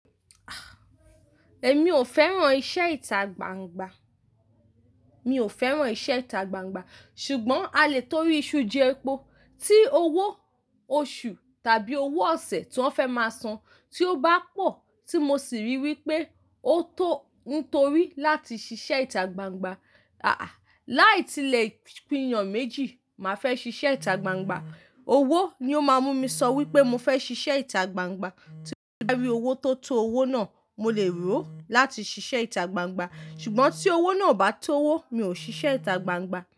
Ah! Èmi ò fẹ́ràn iṣẹ́ ìta gbangba. Mi ò fẹ́ràn iṣẹ́ ìta gbangba ṣùgbọ́n a lè torí iṣu jẹ́ epo tí owó oṣù tàbí owó ọ̀sẹ̀ tí wọ́n fẹ́ máa san tí ó bá pọ̀ tí mo sì rí wí pé ó tó nítorí láti ṣiṣẹ́ ìta gbangba. À-à! Láì tilẹ̀ pinyàn méjì, màá fẹ́ ṣiṣẹ́ ìta gbangba. Owó ni ó máa mú mi sọ wí pé mo fẹ́ ṣiṣẹ́ ìta gbangba. Tí mo bá rí owó tó tó owó náà, mo lè rò ó láti ṣiṣẹ́ ìta gbangba. Ṣùgbọ́n tí owó náà ò bá tó owó, mi ò ṣiṣẹ́ ìta gbangba.